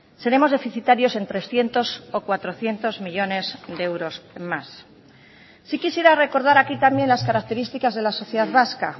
seremos deficitarios en trescientos o cuatrocientos millónes de euros más sí quisiera recordar aquí también las características de la sociedad vasca